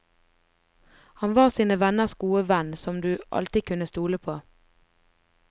Han var sine venners gode venn som du alltid kunne stole på.